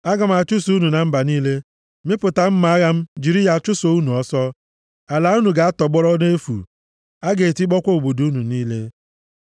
Aga m achụsa unu na mba niile, mịpụta mma agha m jiri ya chụso unu ọsọ. Ala unu ga-atọgbọrọ nʼefu, a ga-etikpọkwa obodo unu niile.